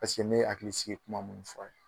Paseke ne hakilisigi kuma mun fɔ a ye